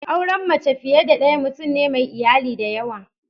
Auren mace fiye da daya mutum ne mai iyali dayawa.